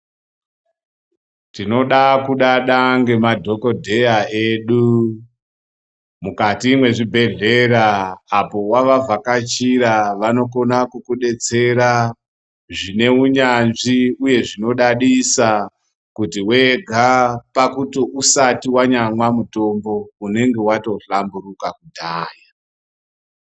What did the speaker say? Tinoda kudada ngemadhokodheya edu mukati mwezvibhedhlera apo wavavhakachira vanokona kukudetsera zvine unyanzvi uye zvinodadisa kuti wega pakuti usati wanyamwa mutombo unenge watohlamburuka kudhaya.